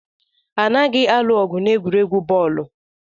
Anaghị alụ ọgụ n'egwuregwu bọọlụ